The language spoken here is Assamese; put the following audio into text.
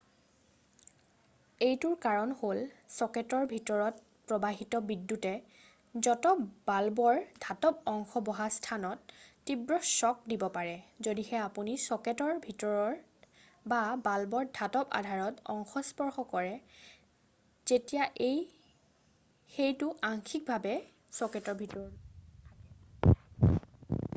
এইটোৰ কাৰণ হ’ল চʼকেটৰ ভিতৰত প্ৰবাহিত বিদ্যুতে য'ত বাল্বৰ ধাতব অংশ বহা স্থানত তীব্ৰ শ্বক্ দিব পাৰে যদিহে আপুনি চʼকেটৰ ভিতৰত বা বাল্বৰ ধাতব আধাৰ অংশ স্পৰ্শ কৰে যেতিয়া সেইটো আংশিকভাৱে চʼকেটৰ ভিতৰত থাকে।